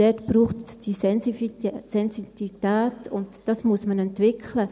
Dort braucht es die Sensitivität, und diese muss man entwickeln.